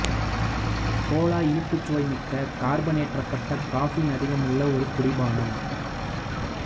Cola இனிப்புச் சுவை மிக்க கார்பனேற்றப்பட்ட கஃபீன் அதிகமுள்ள ஒரு குடிபானம்